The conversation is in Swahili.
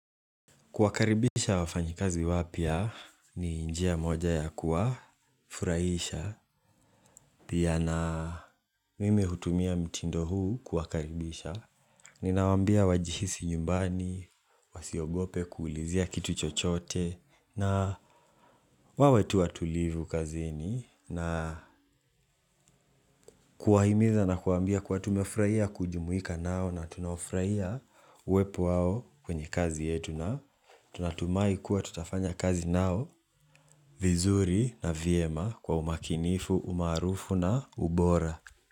Kuwakaribisha wafanyikazi wapya, ni njia moja ya kuwafuraisha, pia na mimi hutumia mtindo huu kuwakaribisha. Ninawambia wajihisi nyumbani, wasiogope kuulizia kitu chochote, na wawe tu watulivu kazini na kuwahimiza na kuwaambia kuwa tumefuraia kujumuika nao na tunaufurahia uwepo wao kwenye kazi yetu na tunatumai kuwa tutafanya kazi nao. Vizuri na vyema kwa umakinifu, umarufu na ubora.